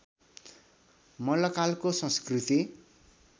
मल्लकालको संस्कृति